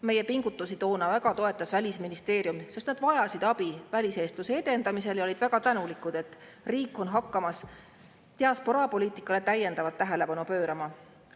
Meie pingutusi toona väga toetas Välisministeerium, sest nad vajasid abi väliseestluse edendamisel ja olid väga tänulikud, et riik hakkas diasporaapoliitikale täiendavat tähelepanu pöörama.